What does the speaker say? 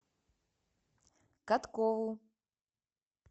каткову